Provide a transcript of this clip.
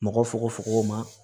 Mɔgɔ fokofoko ma